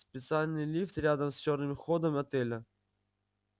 специальный лифт рядом с чёрным ходом отеля